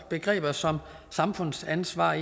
begreber som samfundsansvar